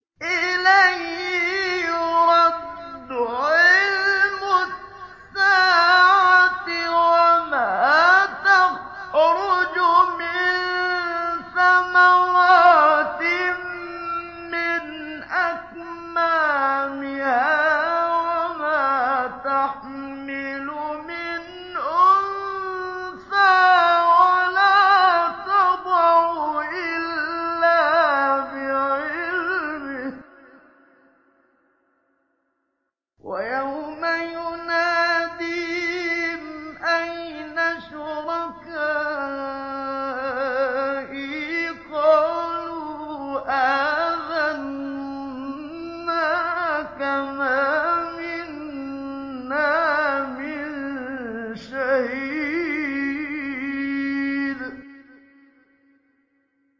۞ إِلَيْهِ يُرَدُّ عِلْمُ السَّاعَةِ ۚ وَمَا تَخْرُجُ مِن ثَمَرَاتٍ مِّنْ أَكْمَامِهَا وَمَا تَحْمِلُ مِنْ أُنثَىٰ وَلَا تَضَعُ إِلَّا بِعِلْمِهِ ۚ وَيَوْمَ يُنَادِيهِمْ أَيْنَ شُرَكَائِي قَالُوا آذَنَّاكَ مَا مِنَّا مِن شَهِيدٍ